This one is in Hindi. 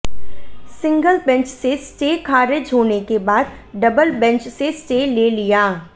सिंगल बेंच से स्टे खारिज होने के बाद डबल बेंच से स्टे ले लिया